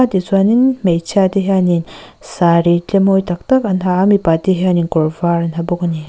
tichuanin hmeichhia te hianin saree tle mawi tak tak an ha a mipa te hianin kawr vâr an ha bawk a ni.